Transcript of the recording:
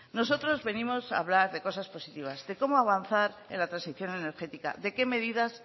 nosotros venimos a hablar de cosas positivas de cómo avanzar en la transición energética de qué medidas